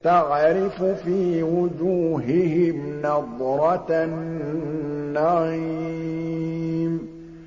تَعْرِفُ فِي وُجُوهِهِمْ نَضْرَةَ النَّعِيمِ